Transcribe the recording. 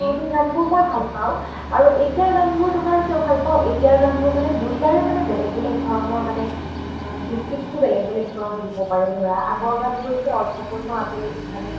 পুৰণি গান বোৰ মই ভাল পাওঁ আৰু এতিয়াৰ গান বোৰ কিয় ভাল পাওঁ এতিয়াৰ গান বোৰ মানে দুইটাৰে মানে বেলেগ বেলেগ ধৰণৰ মানে যুক্তি টো মানে বেলেগ বেলেগ কে দিব পাৰি ধৰা আগৰ গান বোৰ এতিয়া অৰ্থ পূৰ্ণ আছিল মানে